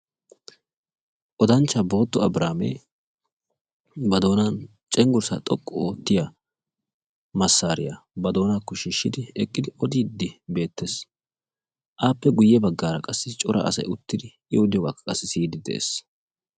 odanchaa booto abrihaami ba doonaako cengursa xoqqu ootiya miishsha oyqqidi odiidi beetees. ape guye bagaara qassi cora asay uttidi siyiidi beetees.